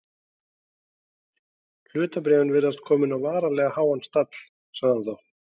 Hlutabréf virðast komin á varanlega háan stall sagði hann þá.